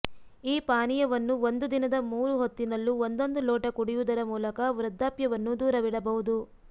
ಈ ಪಾನೀಯವನ್ನು ಒಂದು ದಿನದ ಮೂರು ಹೊತ್ತಿನಲ್ಲೂ ಒಂದೊಂದು ಲೋಟ ಕುಡಿಯುವುದರ ಮೂಲಕ ವೃದ್ಧಾಪ್ಯವನ್ನು ದೂರವಿಡಬಹುದು